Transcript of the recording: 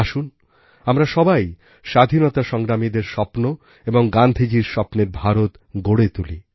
আসুন আমরা সবাই স্বাধীনতা সংগ্রামীদের স্বপ্ন এবং গান্ধীজীর স্বপ্নের ভারত গড়ে তুলি